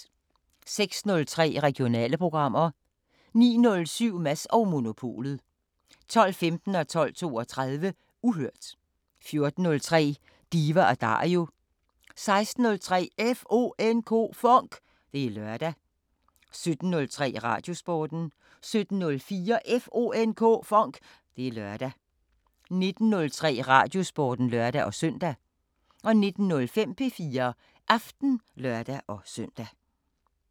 06:03: Regionale programmer 09:07: Mads & Monopolet 12:15: Uhørt 12:32: Uhørt 14:03: Diva & Dario 16:03: FONK! Det er lørdag 17:03: Radiosporten 17:04: FONK! Det er lørdag 19:03: Radiosporten (lør-søn) 19:05: P4 Aften (lør-søn)